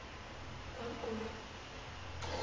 ванкувер